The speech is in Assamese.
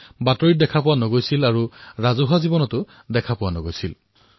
কোনো খবৰ কাগজত দেখা পোৱা নগৈছিল সাৰ্বজনিক ৰূপত প্ৰত্যক্ষ নহৈছিল